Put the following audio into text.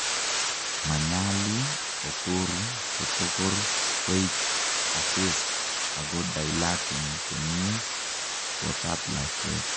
manyalu otoru kotokor koik effaced ako dilaten komie kotab lakwet